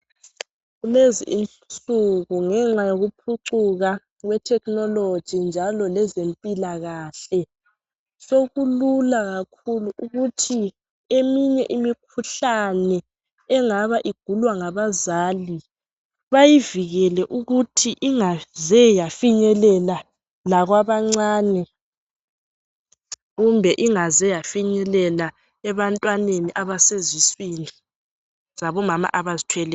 Kulezi insuku ngenxa yokuphucuka kwethekhinoloji njalo lezempilakahle sokulula kakhulu ukuthi eminye imikhuhlane engabe igulwa ngabazali bayivikele ukuthi ingaze yafinyelela lakwabancane kumbe ingaze yafinyelela ebantwaneni abaseziswini zabomama abazithweleyo.